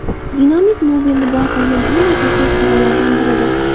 Dinamit Nobelni boy qilgan eng asosiy ixtirolaridan biridir.